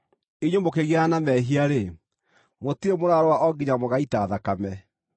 Inyuĩ mũkĩgiana na mehia-rĩ, mũtirĩ mũrarũa o nginya mũgaita thakame.